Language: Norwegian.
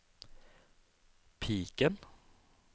piken